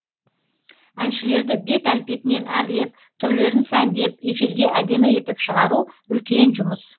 әншілерді бет әлпетінен әрлеп түрлерін сәндеп эфирге әдемі етіп шығару үлкен жұмыс